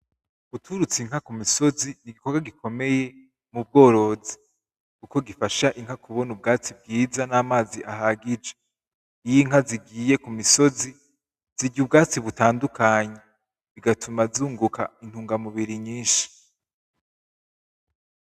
Guturutsa Inka kumisozi nigikorwa gikomeye mubworozi kuko gifasha Inka kubona ubwatsi bwiza n'amazi ahagije, iyo Inka zigiye kumisozi zirya ubwatsi butandukanye bigatuma nzunguka intunga mubiri nyinshi.